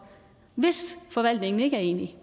hvis forvaltningen ikke er enig